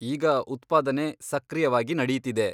ಈಗ ಉತ್ಪಾದನೆ ಸಕ್ರಿಯವಾಗಿ ನಡೀತಿದೆ.